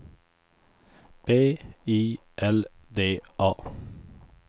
B I L D A